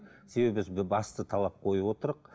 себебі біз басты талап қойып